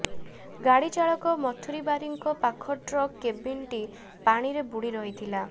ଗାଡି ଚାଳକ ମଥୁରୀ ବାରିକଙ୍କ ପାଖ ଟ୍ରକ୍ କେବିନ୍ଟି ପାଣିରେ ବୁଡି ରହିଥିଲା